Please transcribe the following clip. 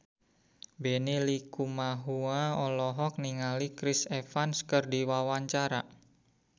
Benny Likumahua olohok ningali Chris Evans keur diwawancara